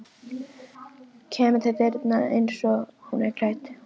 Kemur til dyranna einsog hún er klædd.